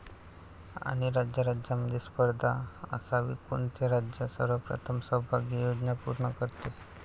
आणि राज्याराज्यांमध्ये स्पर्धा असावी, कोणते राज्य सर्वप्रथम सौभाग्य योजना पूर्ण करते?